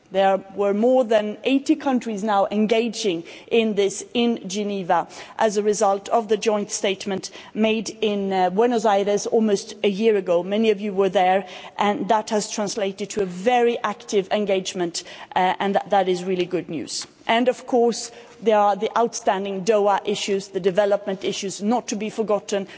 There were more than 80 countries engaging in this in Geneva as a result of the joint statement made in Buenos Aires almost a year ago many of you were there and that has translated to very active engagement and that is really good news. Of course, there are the outstanding Doha issues, the development issues, which are not to be forgotten.